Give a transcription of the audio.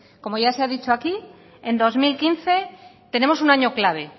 como ya se ha dicho aquí en dos mil quince tenemos un año clave